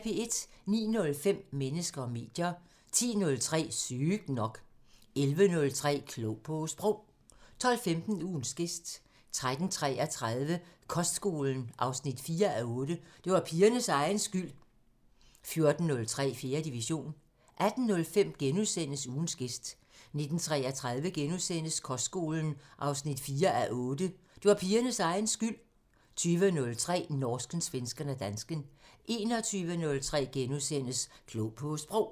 09:05: Mennesker og medier 10:03: Sygt nok 11:03: Klog på Sprog 12:15: Ugens gæst 13:33: Kostskolen 4:8 – Det var pigernes egen skyld 14:03: 4. division 18:05: Ugens gæst * 19:33: Kostskolen 4:8 – Det var pigernes egen skyld * 20:03: Norsken, svensken og dansken 21:03: Klog på Sprog *